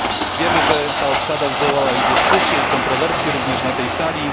Wiemy, że ta obsada wywołała dyskusje i kontrowersje, również na tej sali.